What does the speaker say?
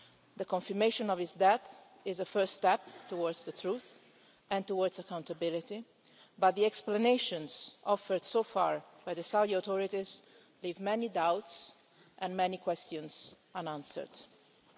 The confirmation of his death is a first step towards the truth and towards accountability, but the explanations offered so far by the Saudi authorities leave many doubts and many unanswered questions.